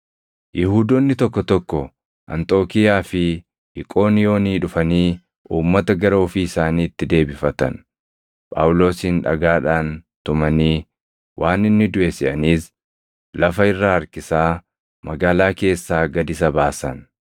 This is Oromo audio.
Yihuudoonni tokko tokko Anxookiiyaa fi Iqooniyoonii dhufanii uummata gara ofii isaaniitti deebifatan. Phaawulosin dhagaadhaan tumanii waan inni duʼe seʼaniis lafa irra harkisaa magaalaa keessaa gad isa baasan.